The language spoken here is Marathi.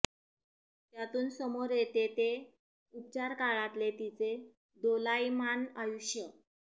त्यातून समोर येते ते उपचार काळातले तिचे दोलायमान आयुष्य